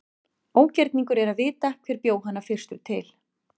Ógerningur er að vita hver bjó hana fyrstur til.